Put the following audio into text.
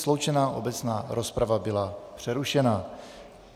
Sloučená obecná rozprava byla přerušena.